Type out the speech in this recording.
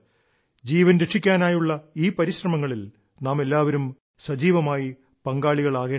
ജീവൻ രക്ഷിക്കാനായുള്ള ഈ പരിശ്രമങ്ങളിൽ നാമെല്ലാവരും സജീവമായി പങ്കാളികളാകേണ്ടതുണ്ട്